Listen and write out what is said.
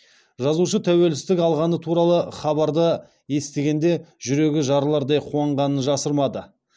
жазушы тәуелсіздік алғаны туралы хабарды естігенде жүрегі жарылардай қуанғанын жасырмады